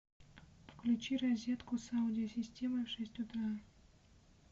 включи розетку с аудио системой в шесть утра